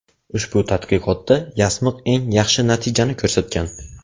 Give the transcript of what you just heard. Ushbu tadqiqotda yasmiq eng yaxshi natijani ko‘rsatgan.